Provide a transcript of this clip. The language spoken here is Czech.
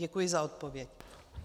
Děkuji za odpověď.